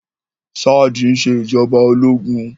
Ṣáàdì ń ṣe ìjọba ológun